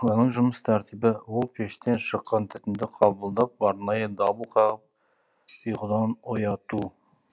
оның жұмыс тәртібі ол пештен шыққан түтінді қабылдап арнайы дабыл қағып ұйқыдан ояту